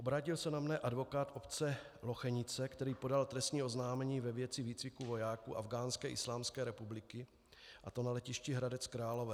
Obrátil se na mne advokát obce Lochenice, který podal trestní oznámení ve věci výcviku vojáků Afghánské islámské republiky, a to na letišti Hradec Králové.